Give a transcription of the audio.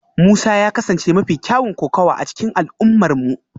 Musa ya kasance mafi kyawun kokawa a cikin al'ummarmu